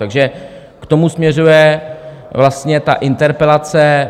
Takže k tomu směřuje vlastně ta interpelace.